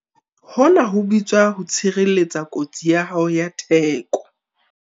Hona ho bitswa ho tshireletsa kotsi ya hao ya theko.